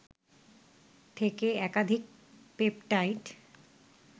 থেকে একাধিক পেপটাইড